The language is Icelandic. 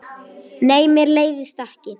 Nei, mér leiðist ekki.